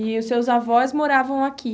E os seus avós moravam aqui?